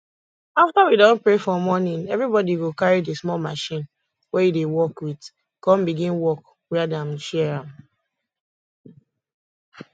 afta we don pray for morning everybody go carry di small machine wey e dey work with come begin work wia dem share am